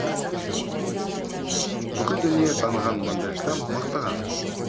бүкіл дүние таныған мандельштам мақтаған